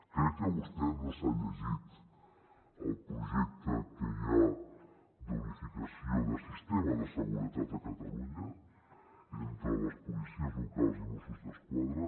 crec que vostè no s’ha llegit el projecte que hi ha d’unificació del sistema de seguretat a catalunya entre les policies locals i mossos d’esquadra